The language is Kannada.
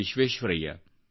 ವಿಶ್ವೇಶ್ವರಯ್ಯ